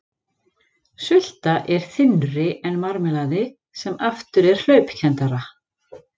Sulta er þynnri en marmelaði sem aftur er hlaupkenndara.